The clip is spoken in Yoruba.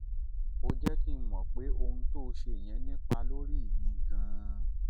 ó jẹ́ kí n mọ̀ pé ohun tó ṣe yẹn nípa lórí mi gan-an